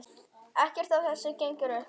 Ekkert af þessu gengur upp.